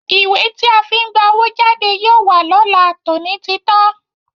Ìwé tí a fi ń gba owó jáde yóò wà lọ́la, tòní ti tán.